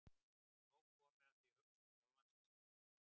Nóg komið af því að hugsa um sjálfan mig sem illan.